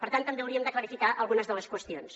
per tant també hauríem de clarificar algunes qüestions